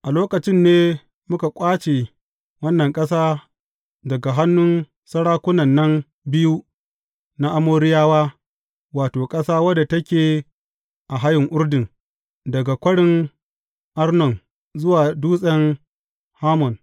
A lokacin ne muka ƙwace wannan ƙasa daga hannun sarakunan nan biyu na Amoriyawa, wato, ƙasa wadda take a hayin Urdun, daga Kwarin Arnon zuwa Dutsen Hermon.